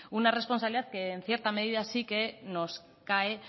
una responsabilidad que en cierta medida sí que nos cae